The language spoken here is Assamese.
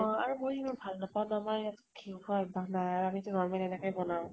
ময়ো ইমান ভাল নাপাওঁ ন ঘি খোৱা অব্য়াস নাই আৰু আমিতো normal এনেকে বনাও।